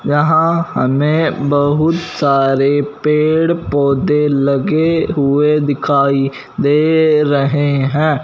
यहां हमें बहुत सारे पेड़ पौधे लगे हुए दिखाई दे रहे हैं।